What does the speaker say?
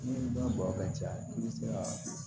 Ni dɔ bɔn ka ca i bi se ka